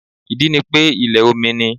Ìdí ni pé ilẹ̀ omi ni